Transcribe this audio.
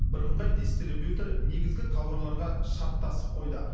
бірыңғай дистрибьютор негізгі тауарларға шарттасып қойды